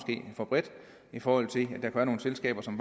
for bredt i forhold til at der kan være nogle selskaber som